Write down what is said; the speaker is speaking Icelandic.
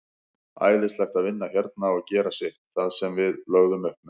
Æðislegt að vinna hérna og gera sitt, það sem við lögðum upp með.